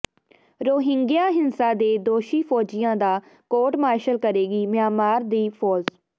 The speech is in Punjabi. ਰੋਹਿੰਗਿਆ ਹਿੰਸਾ ਦੇ ਦੋਸ਼ੀ ਫ਼ੌਜੀਆਂ ਦਾ ਕੋਰਟ ਮਾਰਸ਼ਲ ਕਰੇਗੀ ਮਿਆਂਮਾਰ ਦੀ ਫ਼ੌਜ